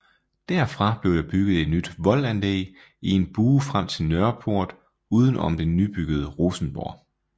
Derfra blev der bygget et nyt voldanlæg i en bue frem til Nørreport uden om det nybyggede Rosenborg